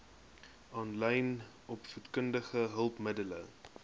aanlyn opvoedkundige hulpmiddele